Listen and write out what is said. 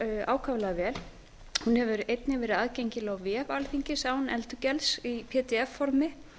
ákaflega vel hún hefur einnig verið aðgengileg á vef alþingis án endurgjalds í pdf formi